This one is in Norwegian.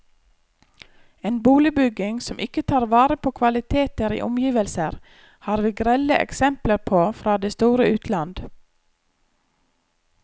En boligbygging som ikke tar vare på kvaliteter i omgivelser, har vi grelle eksempler på fra det store utland.